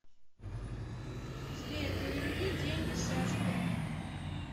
сбер переведи деньги сашке